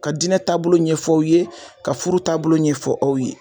Ka diinɛ taabolo ɲɛf'aw ye ka furu taabolo ɲɛfɔ aw ye.